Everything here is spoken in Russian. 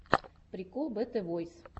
прикол бэтэ войс